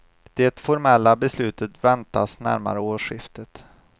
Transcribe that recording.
Det formella beslutet väntas närmare årsskiftet.